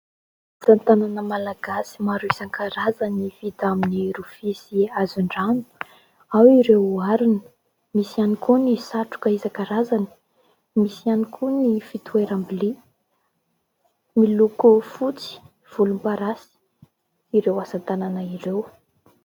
Asa tanana malagasy maro isan-karazany vita amin'ny rofia sy hazon-drano, ao ireo harona misy ihany koa ny satroka isan-karazany, misy ihany koa ny fitoeram-bilia. Miloko fotsy, volomparasy ireo asa tanana ireo.